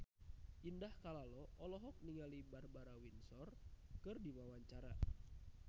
Indah Kalalo olohok ningali Barbara Windsor keur diwawancara